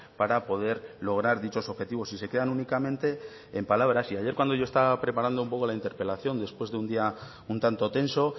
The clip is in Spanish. para poder lograr dichos objetivos y se quedan únicamente en palabras y ayer cuando yo estaba preparando un poco la interpelación después de un día un tanto tenso